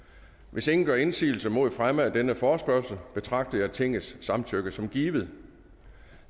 hvis ingen gør indsigelse mod fremme af denne forespørgsel betragter jeg tingets samtykke som givet